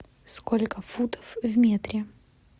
сколько футов в метре